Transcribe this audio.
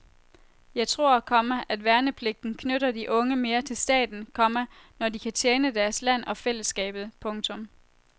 Jeg tror, komma at værnepligten knytter de unge mere til staten, komma når de kan tjene deres land og fællesskabet. punktum